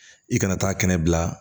I kana taa kɛnɛ bila